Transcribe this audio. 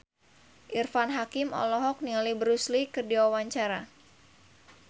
Irfan Hakim olohok ningali Bruce Lee keur diwawancara